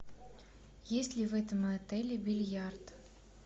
есть ли в этом отеле бильярд